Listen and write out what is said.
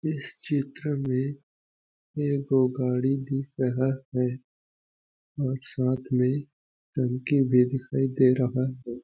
इस चित्र में एगो गाड़ी दिख रहा है और साथ में टंकी भी दिखाई दे रहा हैं।